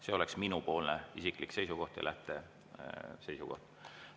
See oleks minu isiklik seisukoht ja lähteseisukoht.